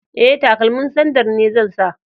E, takalmin sandal ne zan sa.